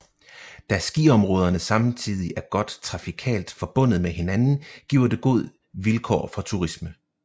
Da skiområderne samtidig er godt trafikalt forbundet med hinanden giver det god vilkår for turisme